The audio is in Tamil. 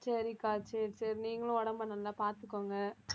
சரிக்கா சரி சரி நீங்களும் உடம்பை நல்லா பாத்துக்கோங்க